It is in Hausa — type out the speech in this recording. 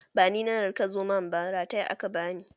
Ba ni na kar Zomon ba, rataya aka bani!